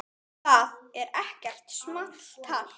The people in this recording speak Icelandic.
Það er ekkert small talk.